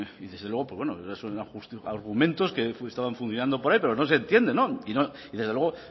y desde luego pues bueno argumentos que estaban funcionando por ahí pero no se entienden y desde luego